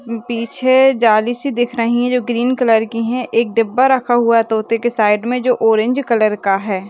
पीछे जाली सी दिख रही है जो ग्रीन कलर की है एक डब्बा रखा हुआ है तोते के साइड मे जो ऑरेंज कलर का है।